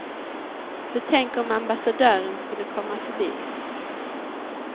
För tänk om ambassadören skulle komma förbi.